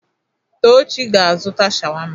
Tochi ga-azụta sháwámá.